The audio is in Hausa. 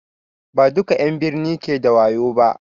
Ba duƙa 'yan n birni ke da wayo ba